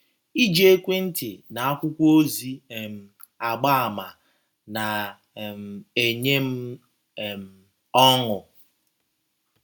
Iji ekwentị na akwụkwọ ozi um agba àmà na - um enye m um ọṅụ